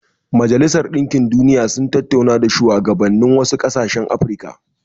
Majalisar Dinkin Duniya sun tattauna da shuwagabannin wasu ƙasashen Afirka.